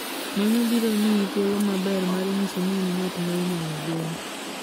Mano biro miyi thuolo maber mar nyiso ni in ng'at ma inyalo gen.